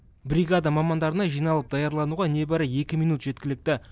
бригада мамандарына жиналып даярлануға небәрі екі минут жеткілікті